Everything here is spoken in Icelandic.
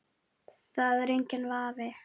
Það er enginn vafi.